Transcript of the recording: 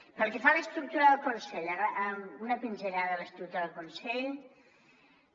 pel que fa a l’estructura del consell una pinzellada a l’estructura del consell